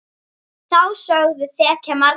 Þá sögu þekkja margir.